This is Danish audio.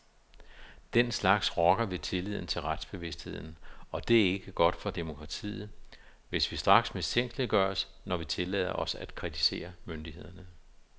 Den slags rokker ved tilliden til retsbevidstheden, og det er ikke godt for demokratiet, hvis vi straks mistænkeliggøres, når vi tillader os at kritisere myndighederne.